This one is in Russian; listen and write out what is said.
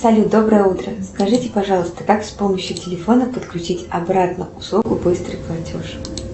салют доброе утро скажите пожалуйста как с помощью телефона подключить обратно услугу быстрый платеж